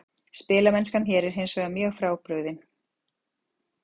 Spilamennskan hér er hinsvegar mjög frábrugðin.